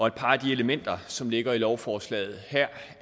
et par af de elementer som ligger i lovforslaget her